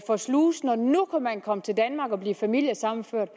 for slusen og nu kan folk komme til danmark og blive familiesammenført